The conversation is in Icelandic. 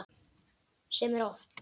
Sem er oft.